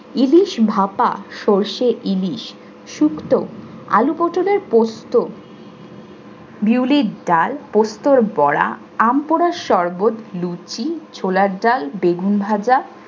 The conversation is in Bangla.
ইলিশ ভাপা, সরষে ইলিশ, শুকো, আলু পটলের পোস্ত, বিউলির ডাল, পোস্তর বড়া, আম পড়ার সরবত, লুচি ছোলার ডাল বেগুন ভাজা